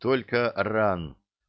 только ран